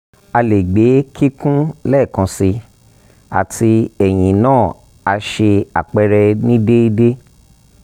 a le gbe kikun lẹẹkansi ati eyin naa ni a ṣe apẹrẹ ni deede